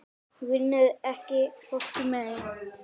Hún vinnur ekki fólki mein.